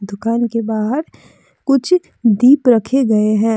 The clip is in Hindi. दुकान के बाहर कुछ दीप रखे गए हैं।